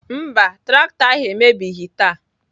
Mba, traktọ ahụ emebighị taa.